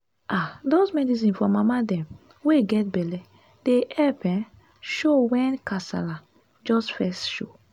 ah those medicine for mama dem wey get belle dey epp um show wen kasala just fess show.